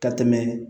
Ka tɛmɛ